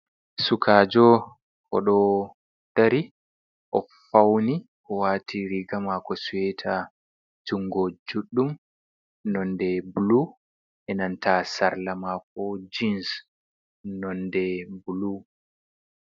"Sukaajo" oɗo dari o fauni o waati riga mako suweta jungo juɗɗum nonde bulu enanta sarla mako jins nonde bulu.